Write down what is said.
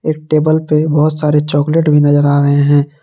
एक टेबल पे बहुत सारे चॉकलेट भी नजर आ रहे हैं।